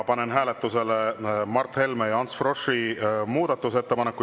Panen hääletusele Mart Helme ja Ants Froschi muudatusettepaneku.